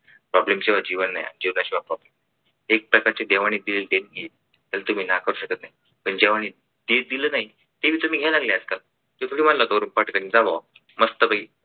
problem शिवाय जीवन नाही आणि जीवनाशिवाय problem नाही एक प्रकारे देवाने दिलेली देणगी आहे तर त्याला तुम्ही नाकारू शकत नाही पण जेव्हा दीवाने ते चे दिल्या नाही हे भी तुम्ही येणार आहेत का